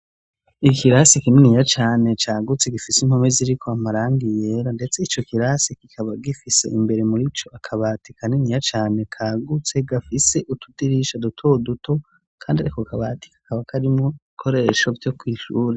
Ikirasi kininiya cane cagutse gifise impome ziriko amarangi yera, ndetse ico kirasi kikaba gifise imbere muri co akabati kaniniya cane kagutse gafise utudirisha duto duto, kandi ako kabati kakaba karimwo ibikoresho vyo kw'ishure.